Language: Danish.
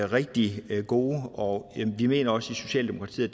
rigtig gode og vi mener også i socialdemokratiet